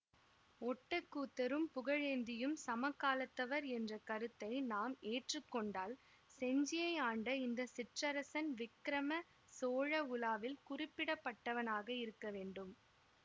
ஒட்டக்கூத்தரும் புகழேந்தியும் சமகாலத்தவர் என்ற கருத்தை நாம் ஏற்றுக்கொண்டால் செஞ்சியை ஆண்ட இந்த சிற்றரசன் விக்கிரம சோழ உலாவில் குறிப்பிடப்பட்டவனாகயிருக்கவேண்டும்